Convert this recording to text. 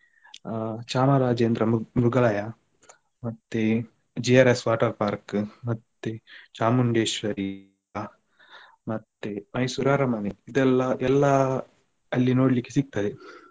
ಚಾಮರಾಜೇಂದ್ರ ಮ್~ ಮೃಗಾಲಯ ಮತ್ತೆ JRS water park ಮತ್ತೆ ಚಾಮುಂಡೇಶ್ವರಿ ಮತ್ತೆ Mysore ಅರಮನೆ ಇದೆಲ್ಲಾ ಎಲ್ಲ ಅಲ್ಲಿ ನೋಡ್ಲಿಕ್ಕೆ ಸಿಗ್ತದೆ.